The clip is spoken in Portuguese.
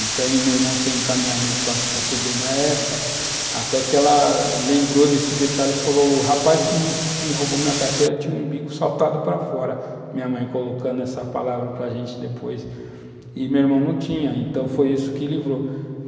meu irmão tem encaminhamento para a Fe Febem na época, até que ela lembrou desse detalhe e falou, o rapaz que me me roubou minha carteira tinha o umbigo saltado para fora, minha mãe colocando essa palavra para a gente depois, e meu irmão não tinha, então foi isso que livrou.